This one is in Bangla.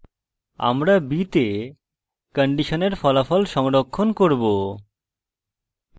আমরা b তে কন্ডিশনের ফলাফল সংরক্ষণ করব